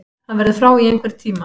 Hann verður frá í einhvern tíma.